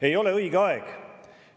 Ei ole õige aeg.